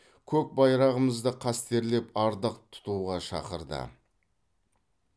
көк байрағымызды қастерлеп ардақ тұтуға шақырды